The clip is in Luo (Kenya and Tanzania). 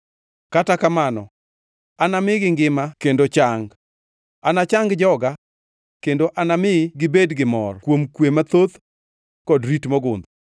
“ ‘Kata kamano, anamigi ngima kendo chang; anachang joga kendo anami gibed gi mor kuom kwe mathoth kod rit mogundho.